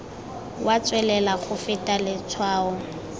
wa tswelela go feta letshwao